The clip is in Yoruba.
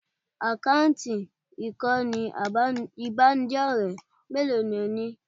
Àkáǹtì ìkànnì ìbánidọ́rẹ̀ẹ́ mélòó ni ò ní?